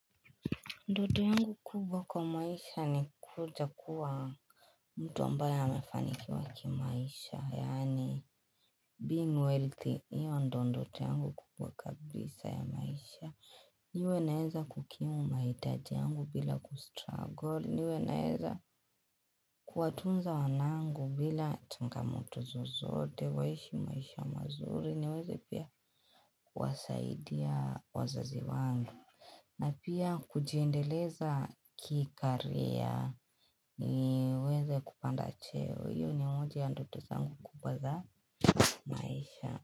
Ndoto yangu kubwa kwa maisha ni kuja kuwa mtu ambayo amefanikiwa kwa maisha. Yani being wealthy, iyo ndo ndoto yangu kubwa kabisa ya maisha. Iwe naeza kukimu maitaji yangu bila kustragol. Iwe naeza kuwatunza wanangu bila changamoto zozote, waishi maisha mazuri. Niweze pia kuwasaidia wazazi wangu. Na pia kujiendeleza kikaria niweze kupanda cheo. Iyo ni moja ya ndoto zangu kubaza maisha.